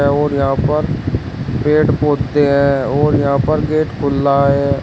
और यहां पर पेड़ पौधे हैं और यहां पर गेट खुला है।